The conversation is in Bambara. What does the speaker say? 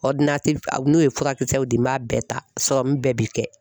a n'o ye furakisɛw di n m'a bɛɛ ta bɛɛ bi kɛ.